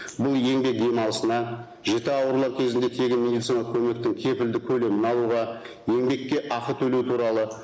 бұл еңбек демалысына жіті аурулар кезінде тегін медициналық көмектің кепілді көлемін алуға еңбекке ақы төлеу туралы